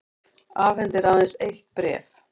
Afhendir aðeins eitt bréf